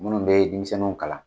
Minnu be denmisɛnnu kalan